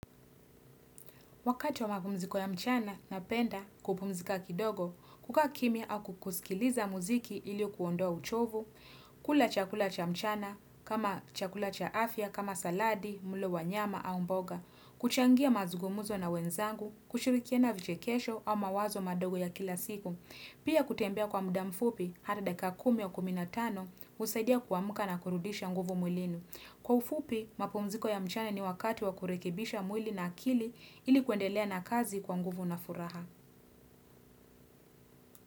Wakati wa mapumziko ya mchana, napenda kupumzika kidogo, kukaa kimya au kusikiliza muziki ili kuondoa uchovu, kula chakula cha mchana, kama chakula cha afya, kama saladi, mlo wa nyama, au mboga, kuchangia mazungumzo na wenzangu, kushirikiana vichekesho au mawazo madogo ya kila siku. Pia kutembea kwa muda mfupi, hadi dakika kumi au kuminatano, husaidia kuamka na kurudisha nguvu mwilini. Kwa ufupi, mapumziko ya mchana ni wakati wa kurekibisha mwili na akili ili kuendelea na kazi kwa nguvu na furaha.